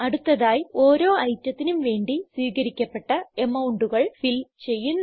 അടുത്തതായി ഓരോ ഐറ്റത്തിനും വേണ്ടി സ്വീകരിക്കപ്പെട്ട amountകൾ ഫിൽ ചെയ്യുന്നു